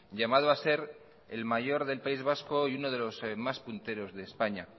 llamado a ser el mayor del país vasco y uno de los más punteros de españa